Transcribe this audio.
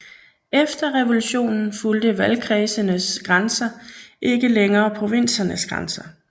Efter revolutionen fulgte valgkredsenes grænser ikke længere provinsernes grænser